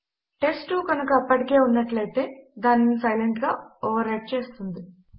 test two కనుక అప్పటికే ఉన్నట్లు అయితే దానిని సైలెంట్ గా ఓవర్ రైట్ చేస్తుంది